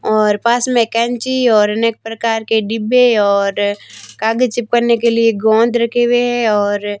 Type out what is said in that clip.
और पास मे कैंची और अनेक प्रकार के डिब्बे और कागज चिपकाने के लिए गोंद रखें हुए है और--